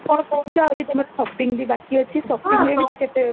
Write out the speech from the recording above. ତମେ କଣ କହୁଚ ଆହୁରି ତମର shopping ବି ବାକି ଅଛି shoppingରେ ବି ତ କେତେ